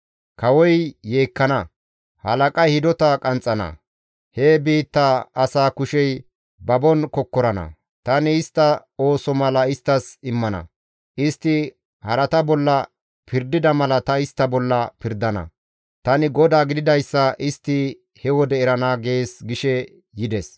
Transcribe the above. Kawoy yeekkana; halaqay hidota qanxxana; he biitta asaa kushey babon kokkorana. Tani istta ooso mala isttas immana; istti harata bolla pirdida mala tani istta bolla pirdana. Tani GODAA gididayssa istti he wode erana› gees» gishe yides.